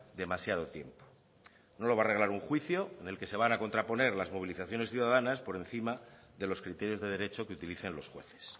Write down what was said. demasiado tiempo no lo va a arreglar un juicio en el que se van a contraponer las movilizaciones ciudadanas por encima de los criterios de derecho que utilicen los jueces